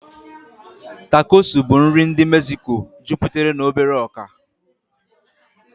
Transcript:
Tacosu bụ nri ndị Mexico juputere na obere ọkà.